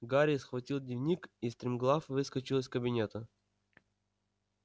гарри схватил дневник и стремглав выскочил из кабинета